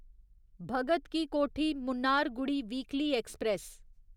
Bhagat ki Kothi Mannargudi weekly express